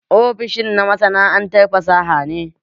Ofishin na masana'antar fasaha ne